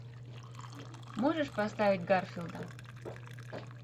можешь поставить гарфилда